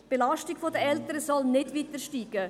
Die Belastung der Eltern soll nicht weiter steigen.